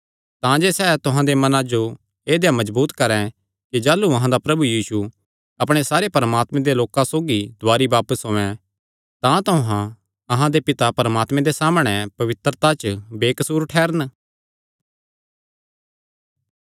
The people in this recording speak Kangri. तांजे सैह़ तुहां दे मनां जो ऐदेया मजबूत करैं कि जाह़लू अहां दा प्रभु यीशु अपणे सारे परमात्मे दे लोकां सौगी दुवारी बापस औयें तां तुहां अहां दे पिता परमात्मे दे सामणै पवित्रता च बेकसूर ठैह़रन